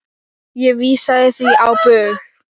Ég vísaði því á bug.